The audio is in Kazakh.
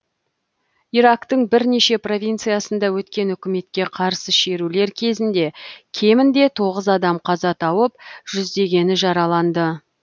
ирактың бірнеше провинциясында өткен үкіметке қарсы шерулер кезінде кемінде тоғыз адам қаза тауып жүздегені жараланды